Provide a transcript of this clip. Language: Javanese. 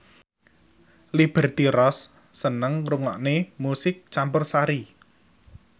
Liberty Ross seneng ngrungokne musik campursari